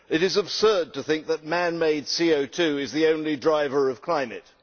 It is absurd to think that man made CO 2 is the only driver of climate.